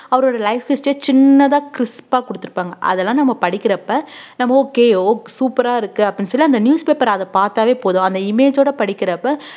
அவரோட life history அ சின்னதா crisp ஆ கொடுத்திருப்பாங்க அதெல்லாம் நம்ம படிக்கிறப்ப நம்ம okay ok~ super ஆ இருக்கு அப்படின்னு சொல்லி அந்த newspaper அ அத பார்த்தாவே போதும் அந்த image ஓட படிக்கிறப்ப